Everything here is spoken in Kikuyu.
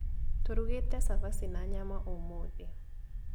Tũrugĩte cabaci na nyama ũmũthĩ